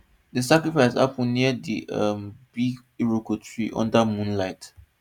the sacrifice happen near the um big iroko tree under moonlight